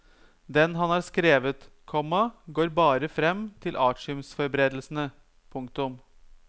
Den han har skrevet, komma går bare frem til artiumsforberedelsene. punktum